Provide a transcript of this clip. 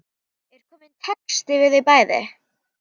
Er kominn texti við þau bæði?